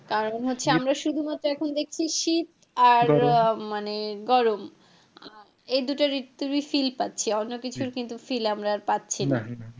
কারন হচ্ছে আমরা শুধুমাত্র এখন দেখছি শীত আর মানে গরম এই দুটো ঋতুরই feel পাচ্ছি অন্য কিছুর কিন্তু feel আমরা পাচ্ছিনা।